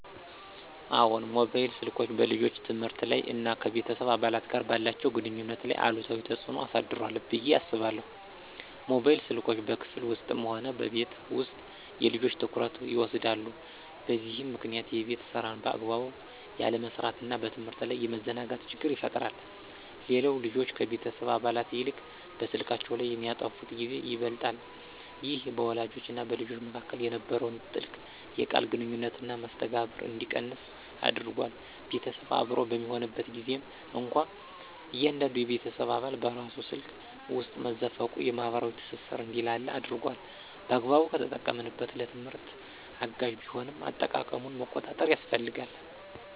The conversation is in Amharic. አዎን፣ ሞባይል ስልኮች በልጆች የትምህርት ላይ እና ከቤተሰብ አባላት ጋር ባላቸው ግንኙነት ላይ አሉታዊ ተጽዕኖ አሳድሯል ብዬ አስባለሁ። ሞባይል ስልኮች በክፍል ውስጥም ሆነ በቤት ውስጥ የልጆችን ትኩረት ይወስዳሉ፤ በዚህም ምክንያት የቤት ሥራን በአግባቡ ያለመስራትና በትምህርት ላይ የመዘናጋት ችግር ይፈጠራል። ሌላው ልጆች ከቤተሰብ አባላት ይልቅ በስልካቸው ላይ የሚያጠፉት ጊዜ ይበልጣል። ይህ በወላጆችና በልጆች መካከል የነበረውን ጥልቅ የቃል ግንኙነትና መስተጋብር እንዲቀንስ አድርጓል። ቤተሰብ አብሮ በሚሆንበት ጊዜም እንኳ እያንዳንዱ የቤተሰብ አባል በራሱ ስልክ ውስጥ መዘፈቁ የማኅበራዊ ትስስር እንዲላላ አድርጓል። በአግባቡ ከተጠቀሙበት ለትምህርት አጋዥ ቢሆንም፣ አጠቃቀሙን መቆጣጠር ያስፈልጋል።